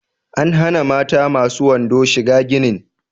An hana mata masu wando shiga ginin